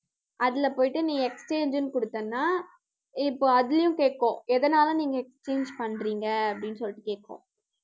அதுல போயிட்டு நீ exchange ன்னு கொடுத்தேன்னா இப்போ அதையும் கேக்கும். எதனால நீங்க change பண்றீங்க அப்படின்னு சொல்லிட்டு கேக்கும்